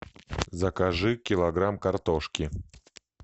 закажи килограмм картошки